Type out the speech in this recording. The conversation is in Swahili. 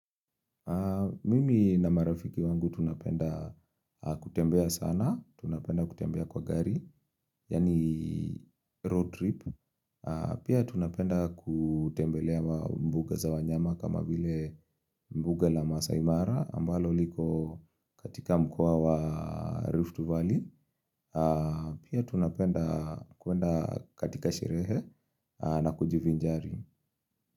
Mimi na marafiki wangu tunapenda kutembea sana, tunapenda kutembea kwa gari, yaani road trip, pia tunapenda kutembelea mbuga za wanyama kama vile mbuga la masai mara ambalo liko katika mkoa wa Rift Valley, pia tunapenda kwenda katika sherehe na kujivinjari.